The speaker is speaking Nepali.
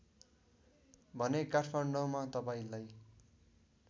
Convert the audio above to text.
भने काठमाडौँमा तपाईँलाई